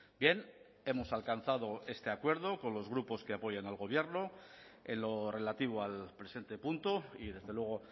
bien hemos alcanzado este acuerdo con los grupos que apoyan al gobierno en lo relativo al presente punto y desde luego